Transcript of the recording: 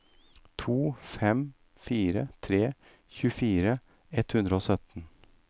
to fem fire tre tjuefire ett hundre og sytten